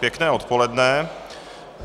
Pěkné odpoledne.